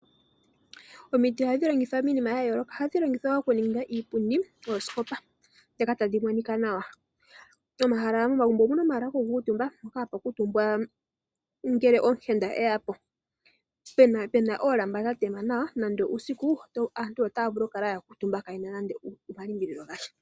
Omiti ohadhi longithwa miinima yayooloka. Ohadhi longithwa okuninga iipundi, oosikopa ndhoka tadhi monika nawa. Momagumbo omuna omahala gokukuutumba mpoka hapu kuutumbwa ngele omuyenda eyapo, pena oolamba dhatema nawa nenge uusiku aantu otaya vulu okukala yakuutumba kaayena nando omalimbililo gasha.